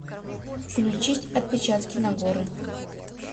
включить отпечатки нагоры